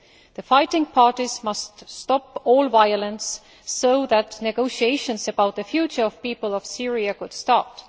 The fighting parties must stop all violence so that negotiations about the future of the people of Syria can start.